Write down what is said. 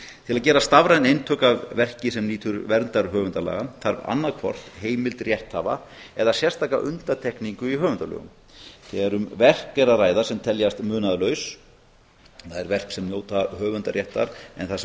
til að gera stafræn eintök af verki sem nýtur verndar höfundalaga þarf annaðhvort heimild rétthafa eða sérstaka undantekningu í höfundalögum þegar um verk er að ræða sem teljast munaðarlaus það er verk sem njóta höfundaréttar en þar sem